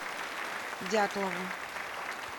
дятлову